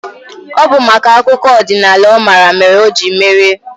Ọ bụ maka akụkọ ọdịnaala ọ mara mere o jiri merie.